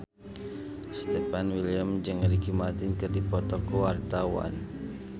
Stefan William jeung Ricky Martin keur dipoto ku wartawan